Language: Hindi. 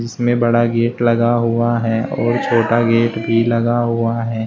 इसमें बड़ा गेट लगा हुआ है और छोटा गेट भी लगा हुआ है।